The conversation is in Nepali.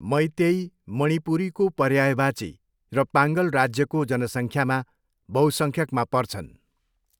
मैइतेई, मणिपुरीको पर्यायवाची र पाङ्गल राज्यको जनसङ्ख्यामा बहुसङ्ख्यकमा पर्छन्।